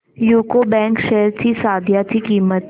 UCO bank shares ची सध्याची किंमत